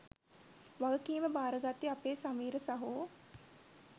වගකීම භාරගත්තේ අපේ සමීර සහෝ.